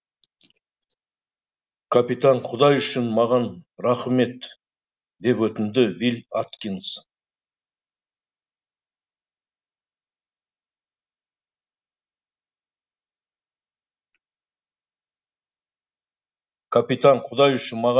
капитан құдай үшін маған рақым ет деп өтінді вилль аткинс